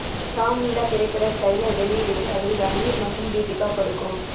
ராம் லீலா திரைப்பட டிரெய்லர் வெளியீடு விழாவில் ரன்வீர் மற்றும் தீபிகா படுகோன்